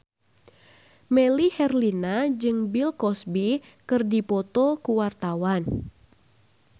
Melly Herlina jeung Bill Cosby keur dipoto ku wartawan